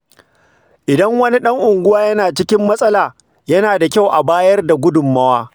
Idan wani ɗan unguwa yana cikin matsala, yana da kyau a bayar da gudunmawa.